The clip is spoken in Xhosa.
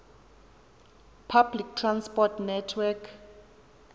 public transport network